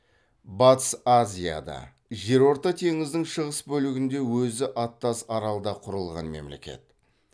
батыс азияда жерорта теңізінің шығыс бөлігінде өзі аттас аралда құрылған мемлекет